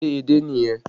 Ṣé edé nìyẹn?